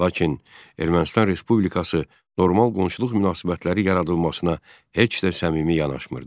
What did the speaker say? Lakin Ermənistan Respublikası normal qonşuluq münasibətləri yaradılmasına heç də səmimi yanaşmırdı.